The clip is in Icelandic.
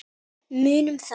Munum þá.